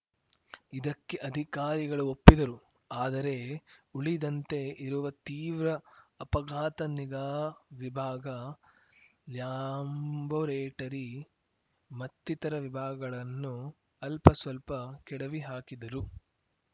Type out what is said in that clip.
ಇದಕ್ಕೆ ಅಧಿಕಾರಿಗಳು ಒಪ್ಪಿದರು ಆದರೆ ಉಳಿದಂತೆ ಇರುವ ತೀವ್ರ ಅಪಘಾತ ನಿಗಾ ವಿಭಾಗ ಲ್ಯಾಮ್ಬೋರೇಟರಿ ಮತ್ತಿತರ ವಿಭಾಗಗಳನ್ನು ಅಲ್ಪಸ್ವಲ್ಪ ಕೆಡವಿ ಹಾಕಿದರು